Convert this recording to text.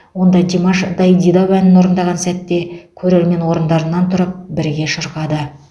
онда димаш дайдидау әнін орындаған сәтте көрермен орындарынан тұрып бірге шырқады